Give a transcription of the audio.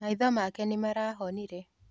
Maitho make nĩmarahonire.